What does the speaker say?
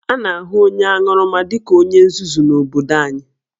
A na-ahụ onye aṅụrụma dị ka onye nzuzu n'obodo anyị